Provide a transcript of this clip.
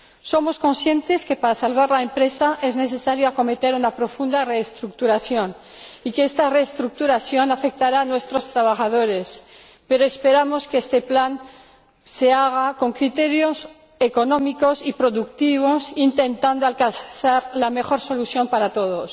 Somos conscientes de que, para salvar la empresa, es necesario acometer una profunda reestructuración, y de que esta reestructuración afectará a nuestros trabajadores, pero esperamos que este plan se haga con criterios económicos y productivos, intentando alcanzar la mejor solución para todos.